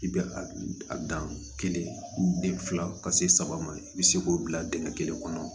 I bɛ a dan kelen fila ka se saba ma i bɛ se k'o bila dingɛ kelen kɔnɔ